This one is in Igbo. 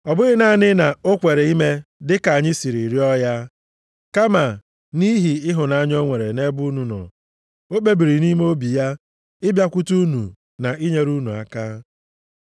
Ọ bụghị naanị na o kweere ime dịka anyị si rịọrọ ya, kama nʼihi ịhụnanya o nwere nʼebe unu nọ, o kpebiri nʼime obi ya ịbịakwute unu na inyere unu aka.